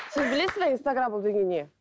сіз білесіз бе инстаграмм ол деген не